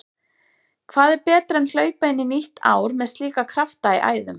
Hvað er betra en hlaupa inn í nýtt ár með slíka krafta í æðum?